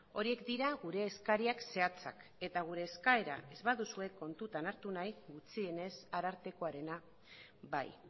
horiek dira gure eskaria zehatzak eta eskaera ez baduzue kontutan hartu nahi gutxienez arartekoarena bai